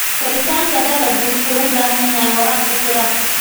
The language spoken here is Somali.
Koritaanka dalaggu wuxuu u baahan yahay waraab ku filan.